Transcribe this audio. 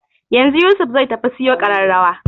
Yanzu Yusuf zai tafi siyo ƙararrawar